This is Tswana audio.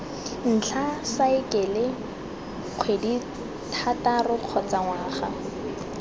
ntlha saekele kgwedithataro kgotsa ngwaga